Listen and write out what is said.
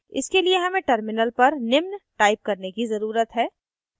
इसके लिए हमें terminal पर निम्न type करने की ज़रुरत है: